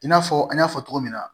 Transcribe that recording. I n'a fɔ an y'a fɔ cogo min na